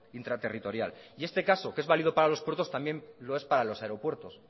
intraterritorial y este caso que es válido para los puertos también lo es para los aeropuertos